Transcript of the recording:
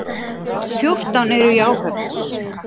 Fjórtán eru í áhöfn.